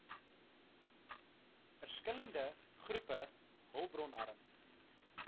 verskillende groepe hulpbronarm